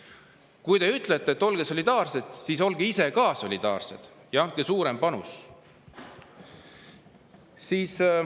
Kui te ütlete, et olge solidaarsed, siis olge ise ka solidaarsed ja andke suurem panus.